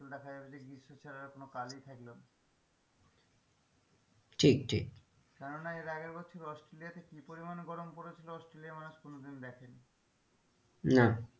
তখন দেখা যাবে যে গীষ্ম ছাড়া আর কোনো কালই থাকলো না ঠিকঠিক কেননা এর আগের বছর অস্ট্রোলিয়াত কি পরিমান গরম পড়েছিল অস্ট্রিলিয়ার মানুষ কোনোদিনও দেখেনি না,